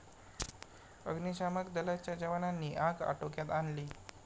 अग्निशामक दलाच्या जवानांनी आग आटोक्यात आणली.